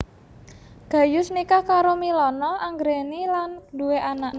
Gayus nikah karo Milana Anggraeni lan duwé anak